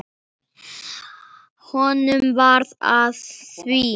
Honum varð að því.